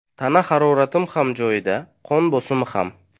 Tana haroratim ham joyida, qon bosimi ham.